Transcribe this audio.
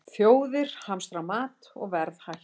Þjóðir hamstra mat og verð hækkar